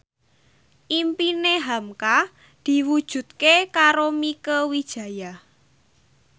impine hamka diwujudke karo Mieke Wijaya